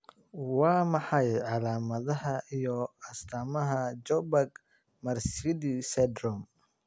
Waa maxay calaamadaha iyo astamaha Juberg Marsidi syndrome?